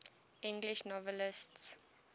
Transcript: english novelists